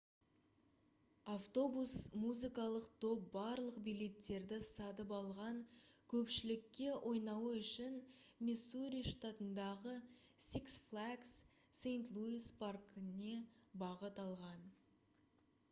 автобус музыкалық топ барлық билеттерді сатып алған көпшілікке ойнауы үшін миссури штатындағы six flags st louis паркіне бағыт алған